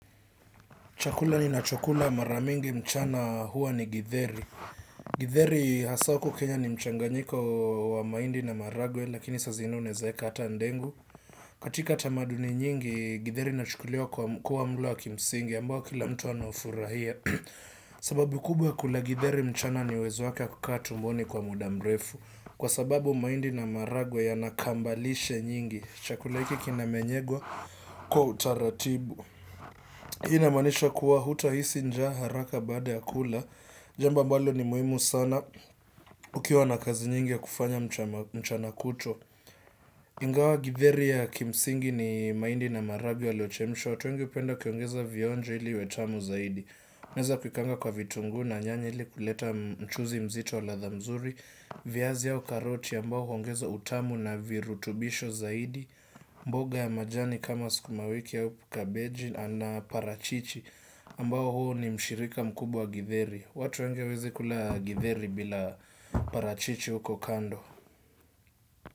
Chakula ninachokula mara mingi mchana huwa ni githeri. Githeri hasa huku Kenya ni mchanganyiko wa mahindi na maharagwe lakini saa zingine inawezaweka hata dengu. Katika tamaduni nyingi githeri inachukuliwa kuwa mlo wa kimsingi ambao kila mtu anafurahia. Sababu kubwa ya kula githeri mchana ni uwezo wake wakukaa tumboni kwa muda mrefu. Kwa sababu mahindi na maharagwe yana kambalishe nyingi. Chakula hiki kinameng'enywa kwa utaratibu. Hii inamaanisha kuwa hutahisi njaa haraka baada ya kula. Jamba ambalo ni muhimu sana ukiwa na kazi nyingi ya kufanya mchana kutwa. Ingawa githeri ya kimsingi ni mahindi na maharagwe yalochemshwa. Watu wengi hupenda kuongeza vionjo ili iwe tamu zaidi. Naweza kukaanga kwa vitunguu na nyanya ili kuleta mchuzi mzito wa ladha nzuri viazi au karoti ambao huongeza utamu na virutubisho zaidi. Mboga ya majani kama sukuma wiki au kabeji ama parachichi ambao huo ni mshirika mkubwa githeri. Watu wengi hawawezi kula githeri bila parachichi huko kando.